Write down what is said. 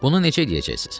Bunu necə eləyəcəksiz?